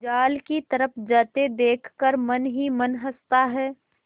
जाल की तरफ जाते देख कर मन ही मन हँसता है